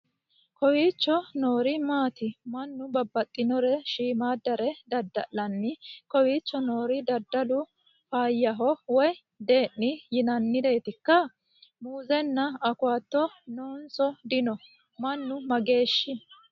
Kowicho noori maati ? Mannu babbaxinore shiimmaaddare dadda'lanni kowicho noori dadalu faayyaho woy de'ni yinanniretikka? muuzenna awukaato nonso dino? Mannu mageeho